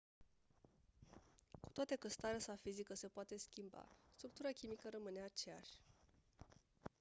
cu toate că starea sa fizică se poate schimba structura chimică rămâne aceeași